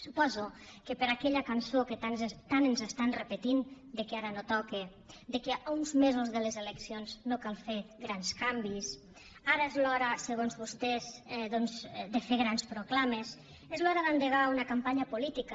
suposo que per aquella cançó que tant ens estan repetint que ara no toca que a uns mesos de les eleccions no cal fer grans canvis ara és l’hora segons vostès de fer grans proclames és l’hora d’endegar una campanya política